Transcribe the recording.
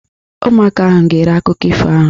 Ụmụaka ahụ gere akụkọ ifo ahụ.